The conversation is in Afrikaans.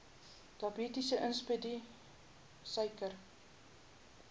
diabetes insipidus suiker